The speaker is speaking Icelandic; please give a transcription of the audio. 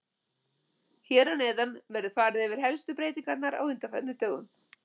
Hér að neðan verður farið yfir helstu breytingarnar á undanförnum dögum